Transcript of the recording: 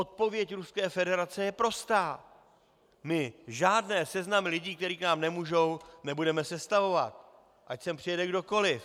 Odpověď Ruské federace je prostá - my žádné seznamy lidí, kteří k nám nemohou, nebudeme sestavovat, ať sem přijede kdokoliv.